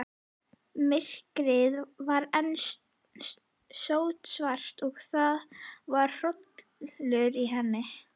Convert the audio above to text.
Myrkrið var enn sótsvart og það var hrollur í henni.